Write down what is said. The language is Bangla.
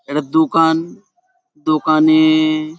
এটা দোকান। দোকানে-এ--